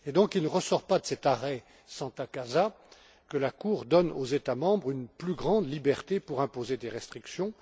Il ne ressort donc pas de l'arrêt Santa Casa que la Cour donne aux États membres une plus grande liberté pour imposer des restrictions.